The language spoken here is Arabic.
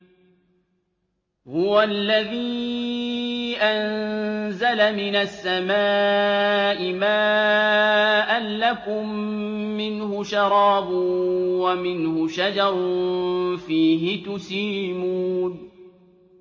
هُوَ الَّذِي أَنزَلَ مِنَ السَّمَاءِ مَاءً ۖ لَّكُم مِّنْهُ شَرَابٌ وَمِنْهُ شَجَرٌ فِيهِ تُسِيمُونَ